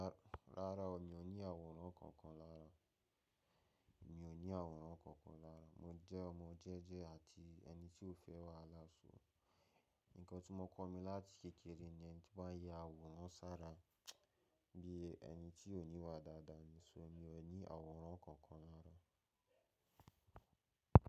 Rárá, mi ò ní àwòrán kankan lára. Mi ò ní àwòrán kankan lára. Mo jẹ́ ọmọ jẹ́jẹ́ àti ẹni tí ò fẹ́ wàhálà ṣó. Nǹkan tí wọ́n kọ́ mi láti kékeré ni ẹni tí bá ń yẹ àwòrán sára bí ẹni tí ò níwà dáadáa ni. Ṣó ni ọ̀ ní àwòrán kankan lára?